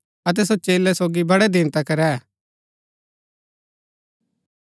अतै सो चेलै सोगी बड़ै दिन तक रैह